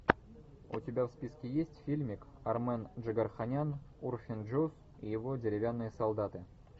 у тебя в списке есть фильмик армен джигарханян урфин джюс и его деревянные солдаты